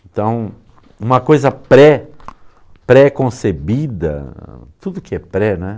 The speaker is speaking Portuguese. Então, uma coisa pré pré-concebida, tudo que é pré, né?